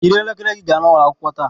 Yiri elekere gị gaa n'ụlọ akwụkwọ taa